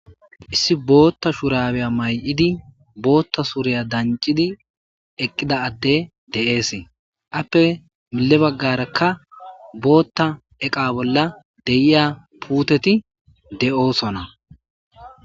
Issi bootta shurabeya may'idi bootta suriya dancidi eqqida atte de'ees appe mille baggarakka bootta eqa bolla deyiya puuteti de'oosona.